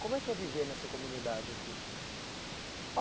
Como é que é viver nessa comunidade aqui?